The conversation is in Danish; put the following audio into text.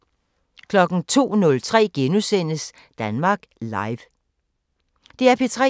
DR P3